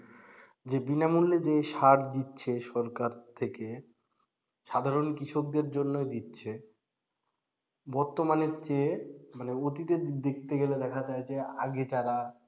জি বিনামূল্যে যে সার দিচ্ছে সরকার থেকে সাধারণ কৃষকদের জন্যই দিচ্ছে বর্তমানের চেয়ে মানে অতীতে দেখতে গেলে দেখা যায় যে আগে যারা,